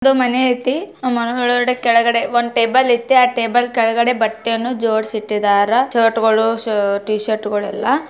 ಒಂದು ಮನೆ ಐತಿ ಆ ಮರದ ಕೆಳಗಡೆ ಒಂದು ಟೇಬಲ್ ಐತೆ ಟೇಬಲ್ ಕೆಳಗಡೆ ಬಟ್ಟೆನು ಜೋಡ್ಸಿದ್ದಾರಾ ಶರ್ಟಗಳು ಟಿ ಶರ್ಟಗಳು ಎಲ್ಲ--